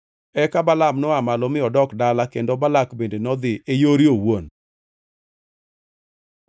Eka Balaam noa malo mi odok dala kendo Balak bende nodhi e yore owuon.